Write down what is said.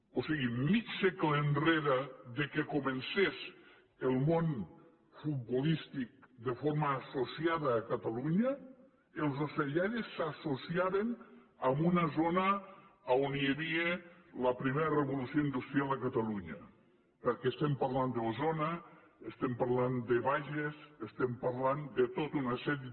o sigui mig segle enrere que comencés el món futbolístic de forma associada a catalunya els ocellaires s’associaven en una zona on hi havia la primera revolució industrial a catalunya perquè estem parlant d’osona estem parlant de bages estem parlant de tota una sèrie